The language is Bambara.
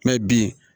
bin